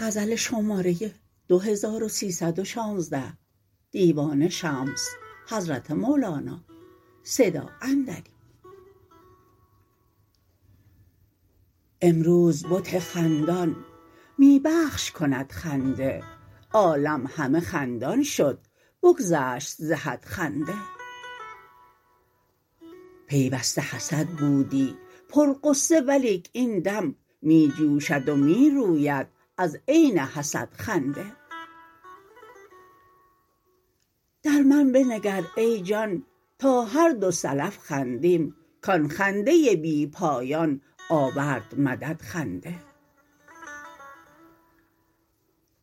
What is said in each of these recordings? امروز بت خندان می بخش کند خنده عالم همه خندان شد بگذشت ز حد خنده پیوسته حسد بودی پرغصه ولیک این دم می جوشد و می روید از عین حسد خنده در من بنگر ای جان تا هر دو سلف خندیم کان خنده بی پایان آورد مدد خنده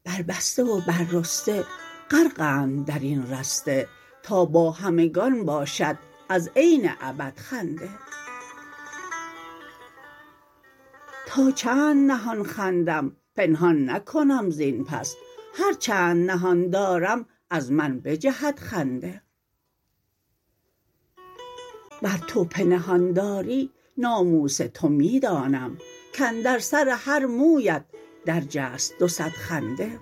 بربسته و بررسته غرقند در این رسته تا با همگان باشد از عین ابد خنده تا چند نهان خندم پنهان نکنم زین پس هر چند نهان دارم از من بجهد خنده ور تو پنهان داری ناموس تو من دانم کاندر سر هر مویت درجست دو صد خنده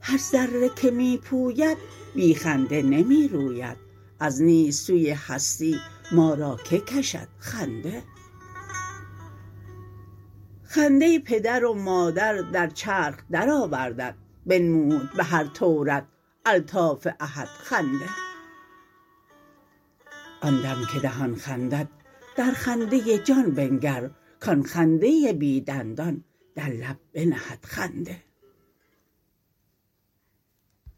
هر ذره که می پوید بی خنده نمی روید از نیست سوی هستی ما را کی کشد خنده خنده پدر و مادر در چرخ درآوردت بنمود به هر طورت الطاف احد خنده آن دم که دهان خندد در خنده جان بنگر کان خنده بی دندان در لب بنهد خنده